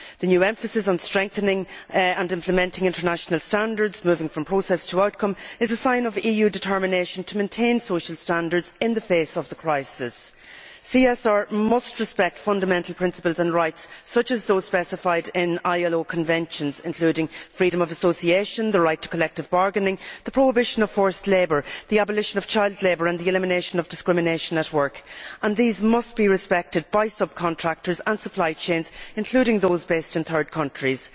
The new emphasis on strengthening and implementing international standards, moving from process to outcome, is a sign of EU determination to maintain social standards in the face of the crisis. CSR must respect fundamental principles and rights such as those specified in ILO conventions, including freedom of association, the right to collective bargaining, the prohibition of forced labour, the abolition of child labour and the elimination of discrimination at work, and these must be respected by subcontractors and supply chains, including those based in third countries.